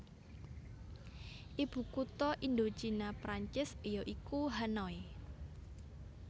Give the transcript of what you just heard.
Ibukutha Indochina Prancis ya iku Hanoi